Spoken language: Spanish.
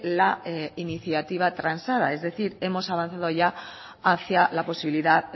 la iniciativa transada es decir hemos avanzado ya hacia la posibilidad